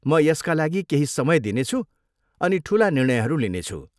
म यसका लागि केही समय दिनेछु अनि ठुला निर्णयहरू लिनेछु।